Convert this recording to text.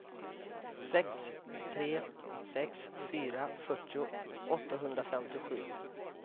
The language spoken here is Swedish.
sex tre sex fyra fyrtio åttahundrafemtiosju